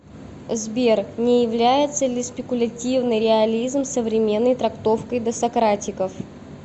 сбер не является ли спекулятивный реализм современной трактовкой досократиков